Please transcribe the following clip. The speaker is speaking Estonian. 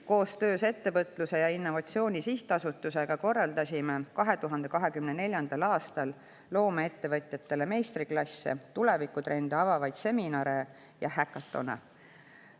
Koostöös Ettevõtluse ja Innovatsiooni Sihtasutusega korraldasime 2024. aastal loomeettevõtjatele meistriklasse, tulevikutrende avavaid seminare ja häkatone.